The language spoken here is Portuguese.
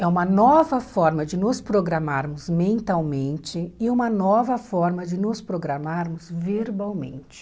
É uma nova forma de nos programarmos mentalmente e uma nova forma de nos programarmos verbalmente.